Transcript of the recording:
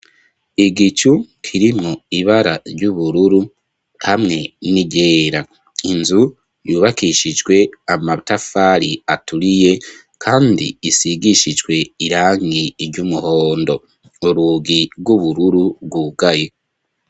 Igicu kirimwo ibara ry'ubururu hamwe n'irera inzu yubakishijwe amatafari aturiye, kandi isigishijwe irangi iry' umuhondo urugi rw'ubururu rwugayo.